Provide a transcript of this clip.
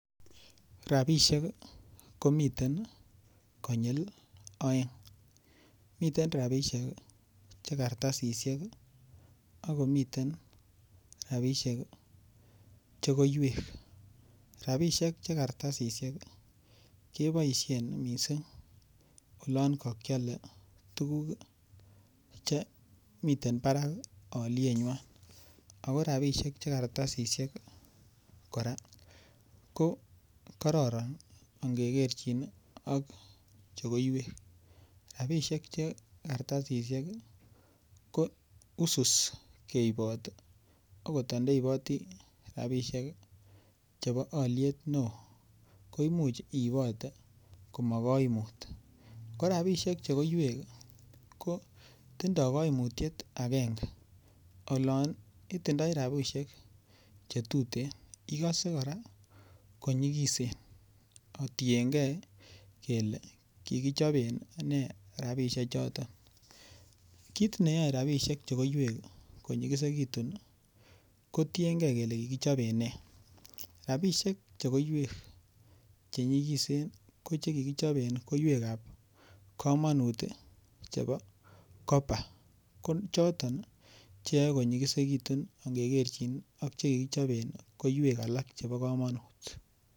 Ropisiek komiten konyil oeng miten ropisiek che kartasishek akomiten ropishek che koiwek ropishek che kartasishek keboishen mising olon kakiale tukuk chemiten barak olienywan ako rapishek che kartasishek kora ko kororon angekerchin ak che koiwek rapishek che kartasishek ko wisis keibot akot andeiboti ropisiek chebo oliet neo koimuch iibote komakoimut ko rapishek che koiwek ko tindoi koimutiet akenge olon itindoi robishek cho tuten ikose kora ko nyikisen kotiengei kele kikichoben ne rapishek chotok kiit neyoe ropisiek che koiwek konyikesitun kotienkei kele kikichoben ne rapishek che koiwek che nyikisen ko chekikichopen koiwek ap komonut chepo copper ko choton cheyoei konyikisitun ngekerchin ak chekikichoben koiwek alak chebo komonut.